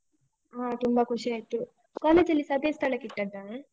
ಹಾ ತುಂಬ ಖುಷಿ ಆಯ್ತು college ಅಲ್ಲಿಸ ಅದೇ ಸ್ಥಳಕ್ಕೆ ಇಟ್ಟದ್ದಾ?